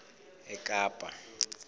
ekapa